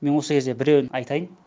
мен осы кезде біреуін айтайын